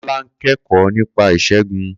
Kola ń kẹ́kọ̀ọ́ nípa ìṣègùn.